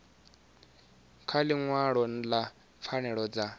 kha ḽiṅwalo ḽa pfanelo dza